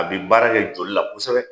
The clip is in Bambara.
A bi baara kɛ joli la kosɛbɛ